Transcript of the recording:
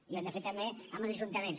i ho hem de fer també amb els ajuntaments